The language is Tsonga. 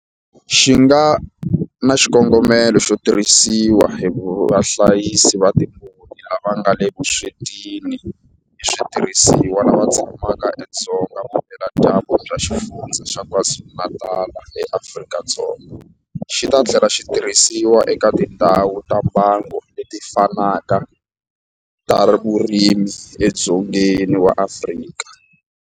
Xi nga na xikongomelo xo tirhisiwa hi vahlayisi va timbuti lava nga le vuswetini hi switirhisiwa lava tshamaka edzonga vupeladyambu bya Xifundzha xa KwaZulu-Natal eAfrika-Dzonga, xi ta tlhela xi tirhisiwa eka tindhawu ta mbango leti fanaka ta vurimi edzongeni wa Afrika.